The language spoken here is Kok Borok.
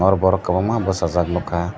o borok kobangma bosajak nogkha.